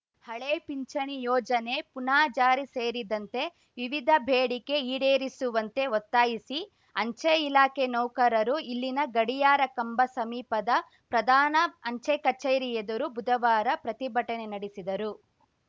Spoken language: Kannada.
ಹಳೇ ಪಿಂಚಣಿ ಯೋಜನೆ ಪುನಾ ಜಾರಿ ಸೇರಿದಂತೆ ವಿವಿಧ ಬೇಡಿಕೆ ಈಡೇರಿಸುವಂತೆ ಒತ್ತಾಯಿಸಿ ಅಂಚೆ ಇಲಾಖೆ ನೌಕರರು ಇಲ್ಲಿನ ಗಡಿಯಾರ ಕಂಬ ಸಮೀಪದ ಪ್ರಧಾನ ಅಂಚೆ ಕಚೇರಿ ಎದುರು ಬುಧವಾರ ಪ್ರತಿಭಟನೆ ನಡೆಸಿದರು